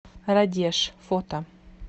радеж фото